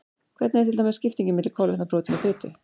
Hvernig er til dæmis skiptingin milli kolvetna, prótína og fitu?